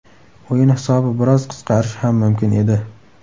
O‘yin hisobi biroz qisqarishi ham mumkin edi.